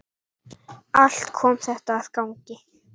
Allt kom þetta að gagni.